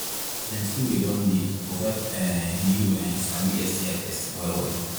plenty way don they to help um you um sabi sti testing well well